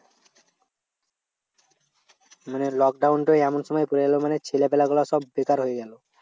মানে lockdown টা এমন সময় চলে এলো, মানে ছেলেপিলা গুলো সব বেকার হয়ে গেলো।